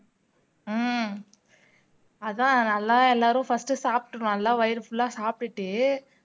உம் அதான் நல்லா எல்லாரும் first சாப்பிட்டு நல்லா வயிறு full லா சாப்டுட்டு